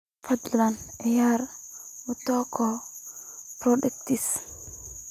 fadlan ciyaar mutoko podcast